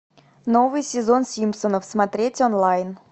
новый сезон симпсонов смотреть онлайн